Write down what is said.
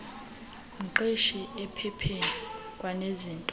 mqeshi ephepheni kwanezinto